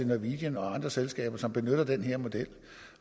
norwegian og andre selskaber som benytter den her model